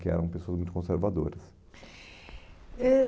Que eram pessoas muito conservadoras. Ãh